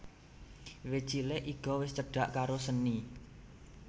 Wiwit cilik Iga wis cedak karo seni